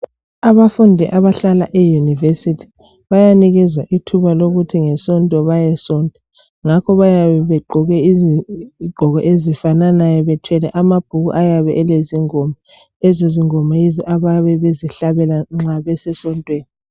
abafundi abahlala e university bayanikezwa ithuba lokuthi ngesonto bayesonta ngakho bayabe begqoke izigqoko ezifananayo bethwele amabhuku ayabe elezingoma lezi zingoma yizo abayabe bezihlabe nxa besesontweni